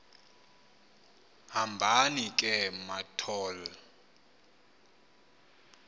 hambani ke mathol